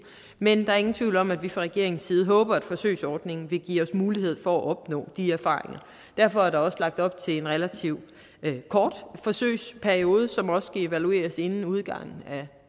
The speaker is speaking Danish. men der er ingen tvivl om at vi fra regeringens side håber at forsøgsordningen vil give os mulighed for at opnå de erfaringer derfor er der også lagt op til en relativt kort forsøgsperiode som også skal evalueres inden udgangen af